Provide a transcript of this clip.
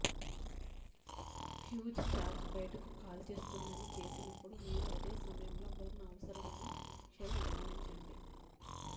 fuse charge బయటకు కాల్చేస్తుందని చేసినప్పుడు మీరు అదే సమయంలో బర్న్ అవసరమైన షెల్ గమనించండి